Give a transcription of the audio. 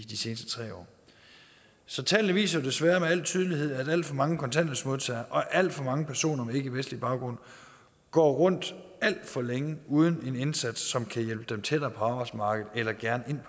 seneste tre år så tallene viser jo desværre med al tydelighed at alt for mange kontanthjælpsmodtagere og alt for mange personer med ikkevestlig baggrund går rundt alt for længe uden at få en indsats som kan hjælpe dem tættere på arbejdsmarkedet eller gerne